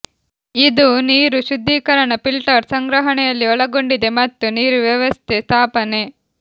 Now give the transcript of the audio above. ಇದು ನೀರು ಶುದ್ಧೀಕರಣ ಫಿಲ್ಟರ್ ಸಂಗ್ರಹಣೆಯಲ್ಲಿ ಒಳಗೊಂಡಿದೆ ಮತ್ತು ನೀರು ವ್ಯವಸ್ಥೆ ಸ್ಥಾಪನೆ